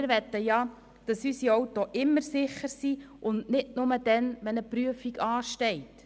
Wir möchten, dass unsere Autos immer sicher sind, und nicht nur, wenn eine Prüfung ansteht.